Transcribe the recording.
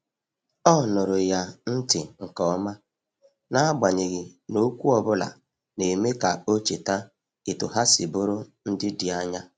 O nụụrụ ya ntị nke ọma, n’agbanyeghị na okwu ọ bụla na-eme ka o cheta etu ha si bụrụ ndị dị anya.